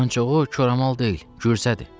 Ancaq o koramal deyil, Gürsədir.